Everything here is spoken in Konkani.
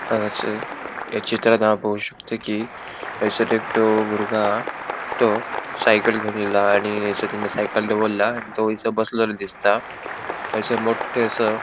हांगासर या चित्रांत हाव पोव शकता कि एसर एकटो बुरगो हा तो साइकल घेवन येलो हा आणि एसर तेणे साइकल दोवोरला आणि तो एसर बोसलोलो दिसता एसर मोठे असा --